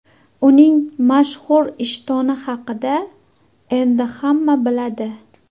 Uning mashhur ishtoni haqida endi hamma biladi.